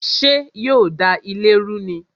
Ṣé yo da ilé ru ni?